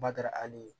Bada hali